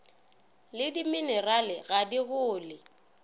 le dimenerale ga go le